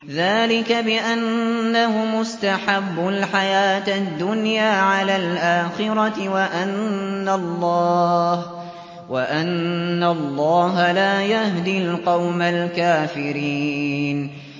ذَٰلِكَ بِأَنَّهُمُ اسْتَحَبُّوا الْحَيَاةَ الدُّنْيَا عَلَى الْآخِرَةِ وَأَنَّ اللَّهَ لَا يَهْدِي الْقَوْمَ الْكَافِرِينَ